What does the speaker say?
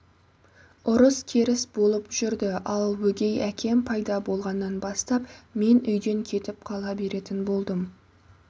ұрыс-керіс болып жүрді ал өгей әкем пайда болғаннан бастап мен үйден кетіп қала беретін болдым